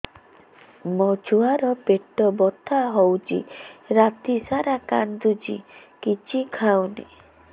ମୋ ଛୁଆ ର ପେଟ ବଥା ହଉଚି ରାତିସାରା କାନ୍ଦୁଚି କିଛି ଖାଉନି